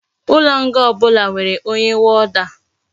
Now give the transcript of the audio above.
Ulo nga obula nwere onye warder